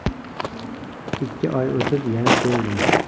Ikki oy o‘tib, yana keldim.